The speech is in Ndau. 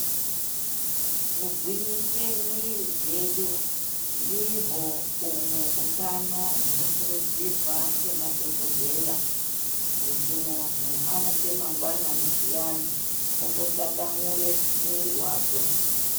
Ku gwinyise mwiri dzedu ndihwo humwe hutano huno kurudzirwa nge madhokodheya kuti munhu amuke mangwanani zviyani ombo tatamure mwiri wakwe.